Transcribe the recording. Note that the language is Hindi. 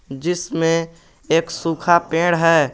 जिसमें एक सूखा पेड़ है।